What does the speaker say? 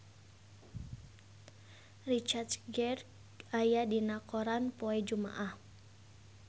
Richard Gere aya dina koran poe Jumaah